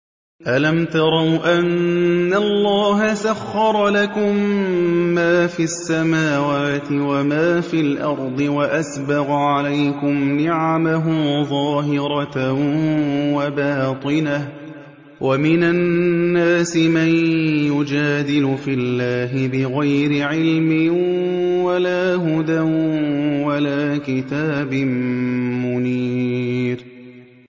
أَلَمْ تَرَوْا أَنَّ اللَّهَ سَخَّرَ لَكُم مَّا فِي السَّمَاوَاتِ وَمَا فِي الْأَرْضِ وَأَسْبَغَ عَلَيْكُمْ نِعَمَهُ ظَاهِرَةً وَبَاطِنَةً ۗ وَمِنَ النَّاسِ مَن يُجَادِلُ فِي اللَّهِ بِغَيْرِ عِلْمٍ وَلَا هُدًى وَلَا كِتَابٍ مُّنِيرٍ